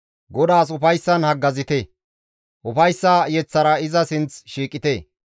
GODAAS ufayssan haggazite; ufayssa yeththara iza sinth shiiqite.